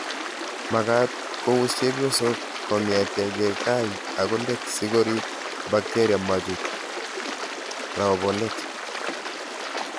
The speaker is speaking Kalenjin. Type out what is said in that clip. Makat kouus chepyosok kong'ete ke gai akoi let si korip �bakteria machut raopolet